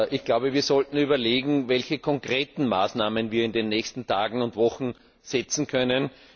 Ich glaube, wir sollten überlegen, welche konkreten Maßnahmen wir in den nächsten Tagen und Wochen setzen können.